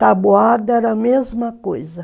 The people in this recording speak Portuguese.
Taboada era a mesma coisa.